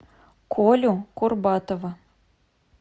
колю курбатова